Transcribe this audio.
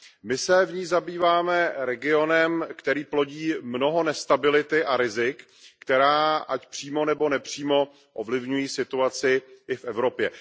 My se v ní zabýváme regionem, který plodí mnoho nestability a rizik, která ať přímo nebo nepřímo ovlivňují situaci i v Evropě.